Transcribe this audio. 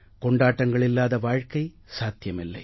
கொண்டாட்டங்களில்லாத வாழ்க்கை சாத்தியமில்லை